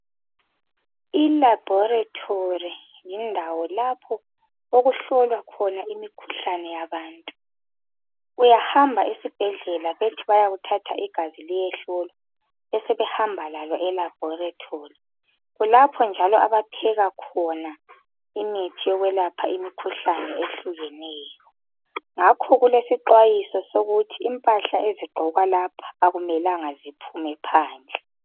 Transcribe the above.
ILaboratory yindawo lapho okuhlolwa khona imikhuhlane yabantu. Uyahamba esibhedlela, bethi bayakuthatha igazi liyehlolwa. Basebehamba lalo elaboratory. Kulapha njalo okuphekwa khona imithi yokwelapha imikhuhlane, eyehlukeneyo. Ngakho kulesixwayiso, sokuthi impahla ezigqokwa lapha, kakumelanga, ziphume phandle.